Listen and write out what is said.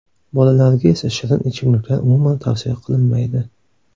Bolalarga esa shirin ichimliklar umuman tavsiya qilinmaydi.